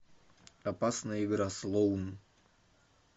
опасная игра слоун